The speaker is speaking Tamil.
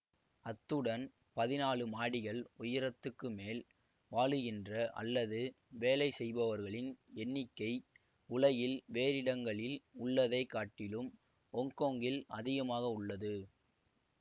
அத்துடன் பதினாலு மாடிகள் உயரத்துக்கு மேல் வாழுகின்ற அல்லது வேலை செய்பவர்களின் எண்ணிக்கை உலகில் வேறிடங்களில் உள்ளதைக் காட்டிலும் ஒங்கொங்கில் அதிகமாக உள்ளது